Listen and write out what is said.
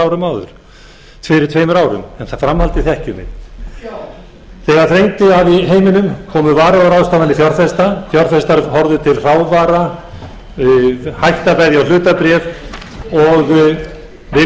árum en framhaldið þekkjum við þegar þrengdi að í heiminum komu varúðarráðstafanir fjárfesta fjárfestar horfðu til hækka bæri hlutabréf og það kom í ljós hversu berskjölduð örmyntin